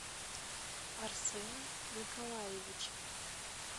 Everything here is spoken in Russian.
арсена николаевича